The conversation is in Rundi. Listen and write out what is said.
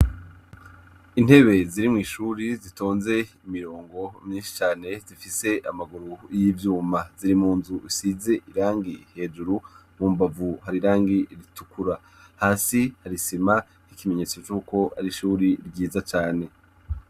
Intebe ziri mw'ishuri zitonze imirongo myinshi cane zifise amaguru y'ivyuma ziri mu nzu isize irangi hejuru mu mbavu hari irangi ritukura hasi harisima ikimenyetso c'uko hari ishuri ryiza cane.